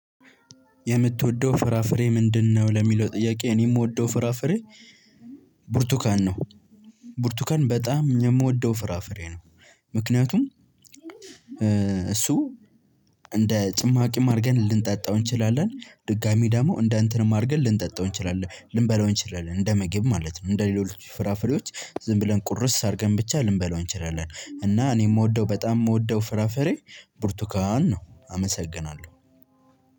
የምትወደው ፍራፍሬ ምንድነው? ለሚለው ጥያቄ እኔ የምወደው ፍራፍሬ ብርቱካን ነው። ቡርቱካን በጣም የምወደው ፍራፍሬ ነው። ምክንያቱም እሱ እንደ ጭማቂም አድርገን ልንጠጣው እንችላለን ድጋሚ ደግሞ እንደ እንትንም አድርገን ልንጠጣው እንችላለን ልንበላው እንችላለን እንደ ምግብ ማለት ነው እንደ ሌሎች ፍራፍሬዎች ዝም ብለን ቁርስ አድርገን ብቻ ልንበላው እንችላለን። እና እኔ የምወደው በጣም የምወደው ፍራፍሬ ብርቱካን ነው። አመሰግናለሁ